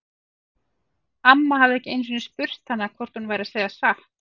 Amma hafði ekki einu sinni spurt hana hvort hún væri að segja satt.